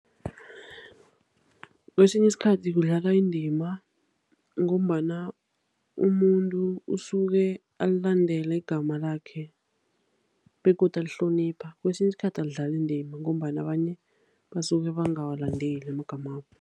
Kwesinye isikhathi kudlala indima ngombana umuntu usuke alandele igama lakhe begodu alihlonipha. Kwesinye isikhathi alidlali indima ngombana abanye basuke bangawalandeli amagamabo.